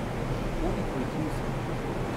Koliko jih niso?